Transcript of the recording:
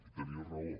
i tenia raó